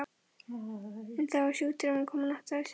En þá er sjúkdómurinn kominn á hátt stig.